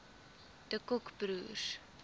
de kock broers